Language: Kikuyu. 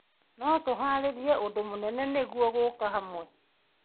No tũharĩrie ũndũ mũnene nĩguo gũũka hamwe.